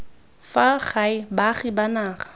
fa gae baagi ba naga